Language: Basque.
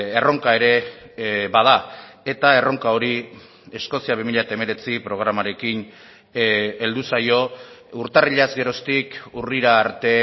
erronka ere bada eta erronka hori eskozia bi mila hemeretzi programarekin heldu zaio urtarrilaz geroztik urrira arte